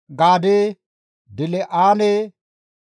Dil7aane, Mixiphpha, Yoqiti7eele,